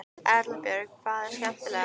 Erla Björg: Hvað er skemmtilegast?